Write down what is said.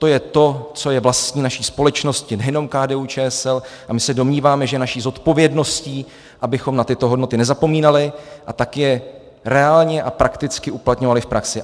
To je to, co je vlastní naší společnosti, nejenom KDU-ČSL, a my se domníváme, že je naší zodpovědností, abychom na tyto hodnoty nezapomínali a tak je reálně a prakticky uplatňovali v praxi.